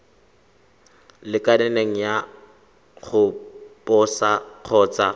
lekaneng ya go posa kgotsa